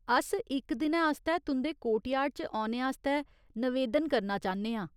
अस इक दिनै आस्तै तुं'दे कोर्टयार्ड च औने आस्तै नवेदन करना चाह्न्ने आं।